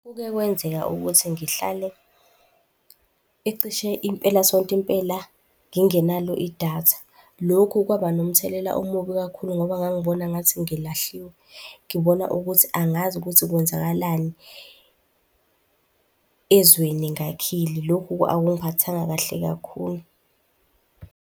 Kuke kwenzeka ukuthi ngihlale, ecishe impelasonto impela ngingenalo idatha. Lokhu kwaba nomthelela omubi kakhulu ngoba ngangibona ngathi ngilahliwe, ngibona ukuthi angazi ukuthi kwenzakalani ezweni ngakhile. Lokhu akungiphathanga kahle kakhulu.